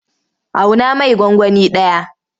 Auna mai gwangwani ɗaya.